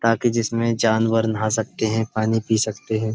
ताकि जिसमें जानवर नहा सकते हैं पानी पी सकते हैं।